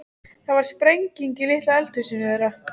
Það varð sprenging í litla eldhúsinu þeirra.